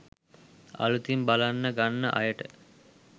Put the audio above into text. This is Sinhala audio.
අලුතින් බලන්න ගන්න අයට